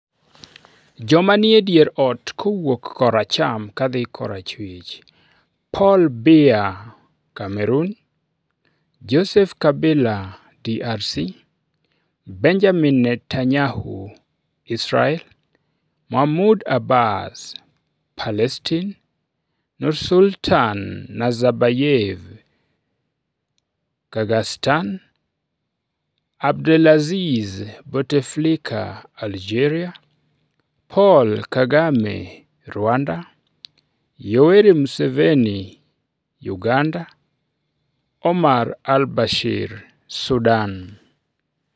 Joma nie dier ot kowuok koracham kadhi korachwich: Paul Biya (Cameroon); Joseph Kabila (DRC); Benjamin Netanyahu (Israel); Mahmoud Abbas (Palestine); Nursultan Nazarbayev (Kazakhstan); Abdelaziz Bouteflika (Algeria); Paul Kagame (Rwanda); Yoweri Museveni (Uganda); Omar Al-Bashir (Sudan).